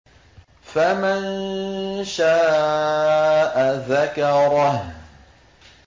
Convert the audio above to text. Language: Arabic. فَمَن شَاءَ ذَكَرَهُ